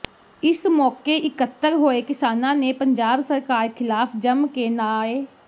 ਇਸ ਮੌਕੇ ਇੱਕਤਰ ਹੋਏ ਕਿਸਾਨਾ ਨੇ ਪੰਜਾਬ ਸਰਕਾਰ ਖਿਲਾਫ਼ ਜੰਮ ਕੇ ਨਾਅ